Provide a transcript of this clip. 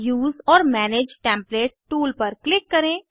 उसे ओर manage templates tool पर क्लिक करें